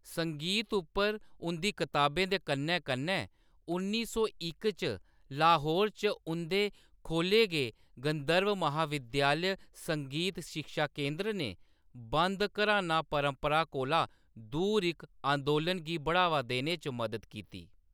संगीत उप्पर उंʼदी कताबें दे कन्नै-कन्नै उन्नी सौ इक च लाहौर च उंʼदे खोल्ले गे गंधर्व महाविद्यालय संगीत शिक्षा केंदर ने बंद घराना परपंरा कोला दूर इक अंदोलन गी बढ़ावा देने च मदद कीती।